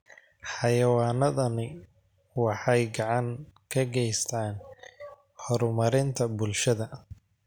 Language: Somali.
Xayawaanadani waxay gacan ka geystaan ??horumarinta bulshada.